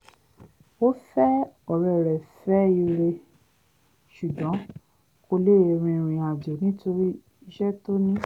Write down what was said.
ó fẹ́ ọ̀rẹ́ re fẹ́ ire ṣùgbọ́n kò lè rìnrìn àjò nítorí iṣẹ́ tó ní